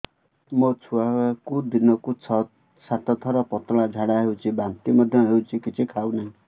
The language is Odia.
ମୋ ଛୁଆକୁ ଦିନକୁ ଛ ସାତ ଥର ପତଳା ଝାଡ଼ା ହେଉଛି ବାନ୍ତି ମଧ୍ୟ ହେଉଛି କିଛି ଖାଉ ନାହିଁ